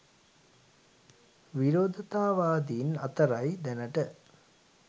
විරෝධතාවාදීන් අතරයි දැනට